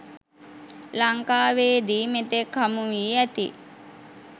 ලංකාවේදී මෙතෙක් හමු වී ඇති